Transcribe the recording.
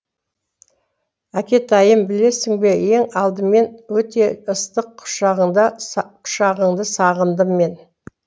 әкетайым білесің бе ең алдымен өте ыстық құшағыңды сағындым мен